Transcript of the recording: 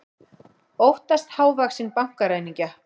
Óttast hávaxinn bankaræningja